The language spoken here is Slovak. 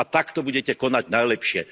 A takto budete konať najlepšie.